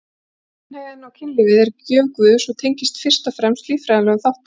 Kynhneigðin og kynlífið er gjöf Guðs og tengist fyrst og fremst líffræðilegum þáttum.